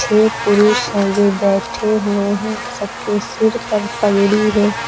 ये पुरुष हैं जो बैठे हुए हैं सबके सिर पर पगड़ी है।